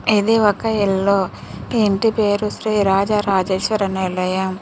ఇది ఒక ఇల్లు ఈ ఇంటి పేరు శ్రీ రాజ రాజేశ్వరి నిలయం.